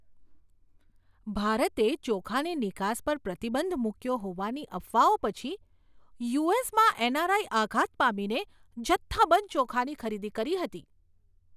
ભારતે ચોખાની નિકાસ પર પ્રતિબંધ મૂક્યો હોવાની અફવાઓ પછી યુ.એસ.માં એન.આર.આઈ. આઘાત પામીને જથ્થાબંધ ચોખાની ખરીદી કરી હતી.